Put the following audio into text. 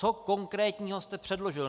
Co konkrétního jste předložil?